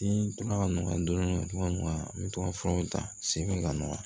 Ni tora ka nɔgɔya dɔɔnin dɔɔnin n bɛ to ka furaw ta segin ka na